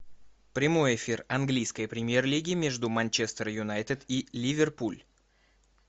прямой эфир английской премьер лиги между манчестер юнайтед и ливерпуль